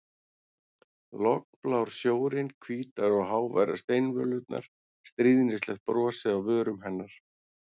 Lognblár sjórinn, hvítar og háværar steinvölurnar, stríðnislegt brosið á vörum hennar.